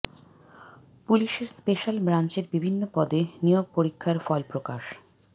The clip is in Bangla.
পুলিশের স্পেশাল ব্রাঞ্চের বিভিন্ন পদে নিয়োগ পরীক্ষার ফল প্রকাশ